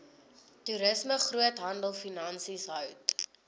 toerisme groothandelfinansies hout